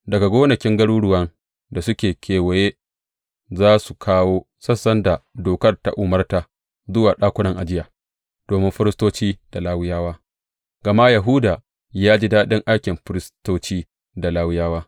Daga gonakin garuruwan da suke kewaye za su kawo sassan da Dokar ta umarta zuwa ɗakunan ajiya domin firistoci da Lawiyawa, gama Yahuda ya ji daɗin aikin firistoci da Lawiyawa.